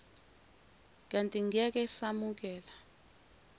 kanti ngeke samukela